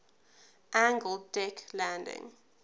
angled deck landing